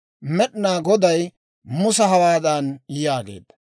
Med'inaa Goday Musa hawaadan yaageedda;